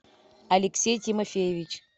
алексей тимофеевич